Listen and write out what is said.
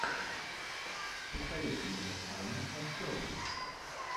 посоветуй мне аню консерви